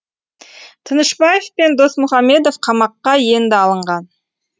тынышбаев пен досмұхамедов қамаққа енді алынған